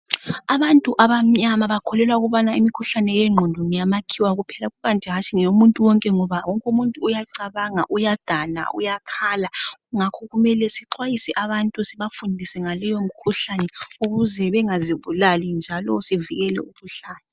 Abantu abamnyama bakholelwa ukubana mikhuhlane yengqondo ngeyamakhiwa kuphela. Kukanti hatshi ngeyomuntu wonke, ngoba wonke umuntu uyacabanga, uyagana, uyakhala Ngakho kumele sixwayise abantu Sibafundise ngaleyomikhuhlane, ukuze abantu bangazibulali, njalo sivikele leyomikhuhlane.